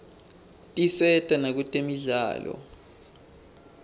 tisata nakutemidlalo